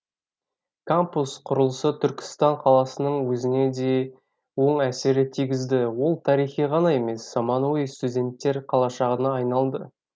кампус құрылысы түркістан қаласының өзіне де оң әсерін тигізді ол тарихи ғана емес заманауи студенттер қалашығына айналды